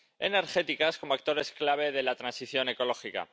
energéticas como actores clave de la transición ecológica.